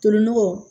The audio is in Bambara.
Torinɔgɔ